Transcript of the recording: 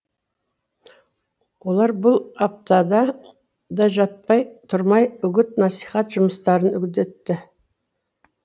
олар бұл аптада да жатпай тұрмай үгіт насихат жұмыстарын үдетті